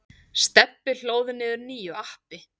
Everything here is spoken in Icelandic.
Stebbi hlóð niður nýju appi.